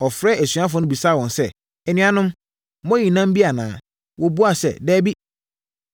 Ɔfrɛɛ asuafoɔ no bisaa wɔn sɛ, “Anuanom, moayi nam bi anaa?” Wɔbuaa sɛ, “Dabi.”